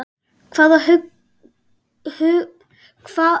Hvaða hugsuður hefur haft mest áhrif á hvernig þú starfar?